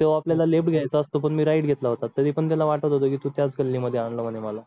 तेव्हा आपल्याला left घ्यायचा असतो पण मी right घेतला होता तरी पण त्याला वाटत होतं मी तु त्याच गल्लीत आणलं म्हणे मला